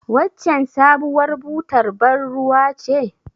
Waccen sabuwar butar bar ruwa ce?